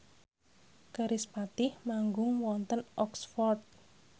kerispatih manggung wonten Oxford